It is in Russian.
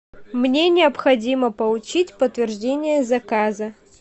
мне необходимо получить подтверждение заказа